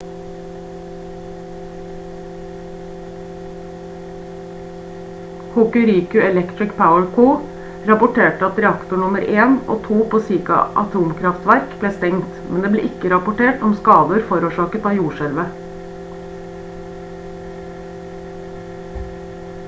hokuriku electric power co rapporterte at reaktor nr 1 og 2 på shika atomkraftverk ble stengt men det ble ikke rapportert om skader forårsaket av jordskjelvet